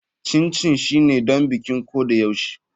Chin chin shine don bikin ko da yaushe.